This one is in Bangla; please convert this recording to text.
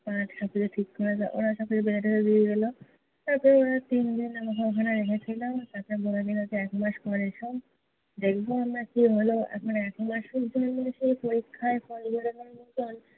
পা টা ঠিক করে ওরা সকলে বেঁধে টেঁধে দিয়ে গেলো। তারপর ওখানে তিনজন আমাকে ওখানে রেখেছিল। তারপর বলে দিলো যে একমাস পর এসো। দেখবো আমরা কী হলো। এখন একমাস পরে যে পরীক্ষার ফল বেড়ানোর মতোন